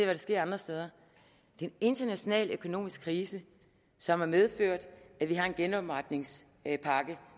der sker andre steder det er en international økonomisk krise som har medført at vi har en genopretningspakke